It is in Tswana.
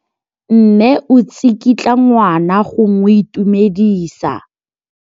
Mme o tsikitla ngwana go mo itumedisa.